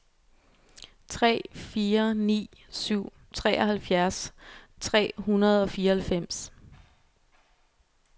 tre fire ni syv treoghalvfjerds tre hundrede og fireoghalvfems